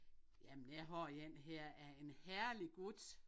Jamen jeg har en her af en herlig gut